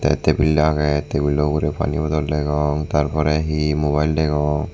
tey tebil agey tebilo ugurey pani bodol dgeong tar porey hi mubayil degong.